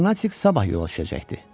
Karnatik sabah yola düşəcəkdi.